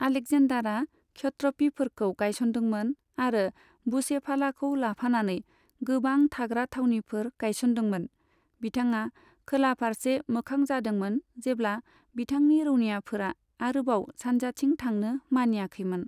आलेकजेन्दारा क्षत्रपिफोरखौ गायसनदोंमोन, आरो बुसेफालाखौ लाफानानै गोबां थाग्रा थावनिफोर गायसनदोंमोन, बिथाङा खोला फारसे मोखां जादोंमोन जेब्ला बिथांनि रौनियाफोरा आरोबाव सानजाथिं थांनो मानियाखैमोन।